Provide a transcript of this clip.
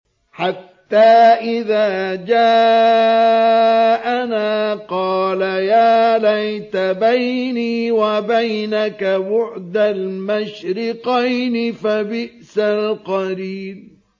حَتَّىٰ إِذَا جَاءَنَا قَالَ يَا لَيْتَ بَيْنِي وَبَيْنَكَ بُعْدَ الْمَشْرِقَيْنِ فَبِئْسَ الْقَرِينُ